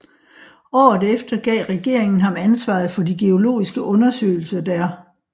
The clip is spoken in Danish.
Året efter gav regeringen ham ansvaret for de geologiske undersøgelser der